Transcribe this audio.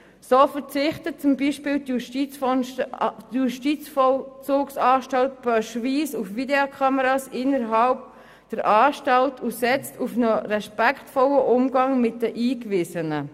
So verzichtet zum Beispiel die Justizvollzugsanstalt Pöschwies auf Videokameras innerhalb der Anstalt und setzt auf einen respektvollen Umgang mit den Eingewiesenen.